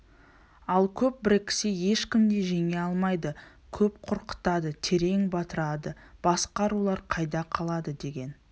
ал көп біріксе ешкім де жеңе алмайды көп қорқытады терең батырады басқа рулар қайда қалады деген